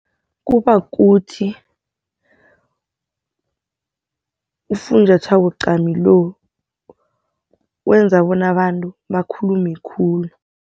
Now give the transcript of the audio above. Kuba kuthi ufunjathwako cami lo, wenza bona abantu bakhulume khulu.